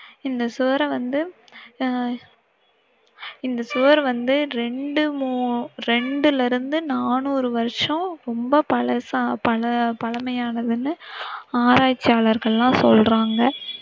இந்த சுவரை வந்து, அஹ் இந்த சுவரை வந்து இரண்டு மூ~இரண்டுலிருந்து நானூறு வருஷம் ரொம்ப பழச~பழ~பழமையானதுன்னு ஆராச்சியாளர்கள் எல்லாம் சொல்றங்க.